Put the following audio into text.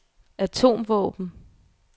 atomvåben